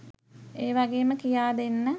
ඒවාගේම කියා දෙන්න